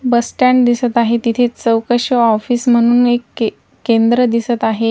बस stand दिसत आहे तिथे चौकश ऑफिस म्हणून एक केंद्र दिसत आहे.